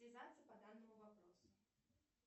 связаться по данному вопросу